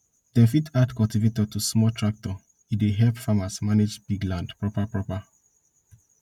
dem fit add cultivator to small tractor e dey help farmers manage big land proper proper